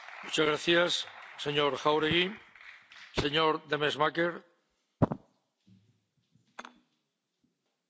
Voorzitter, commissaris, de oppositie tegen het autoritaire regime van Daniel Ortega heeft vele gezichten.